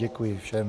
Děkuji všem.